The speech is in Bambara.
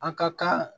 A ka kan